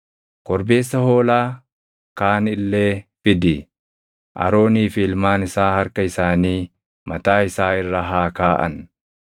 “Korbeessa hoolaa kaan illee fidi; Aroonii fi ilmaan isaa harka isaanii mataa isaa irra haa kaaʼan.